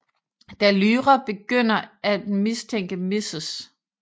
Da Lyra begynder af mistænke Mrs